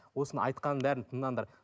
осының айтқанның бәрін тыңдаңдар